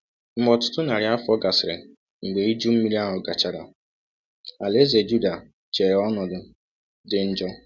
Mgbe ọtụtụ narị afọ gasịrị mgbe Iju Mmiri ahụ gachara, alaeze Juda chere ọnọdụ dị njọ.